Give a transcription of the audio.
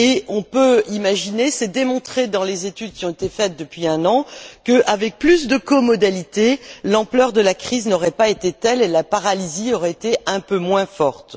On peut imaginer c'est démontré dans les études qui ont été faites depuis un an que, avec plus de comodalité, l'ampleur de la crise n'aurait pas été telle et la paralysie aurait été un peu moins forte.